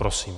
Prosím.